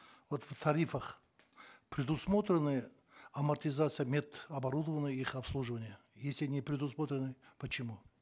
вот в тарифах предусмотрены амортизация мед оборудования и их обслуживание если не предусмотрены почему